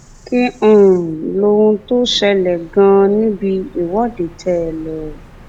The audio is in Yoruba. kí um lohun tó ṣẹlẹ ganan um níbi ìwọde tẹẹ lọ